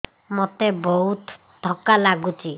ମୋତେ ବହୁତ୍ ଥକା ଲାଗୁଛି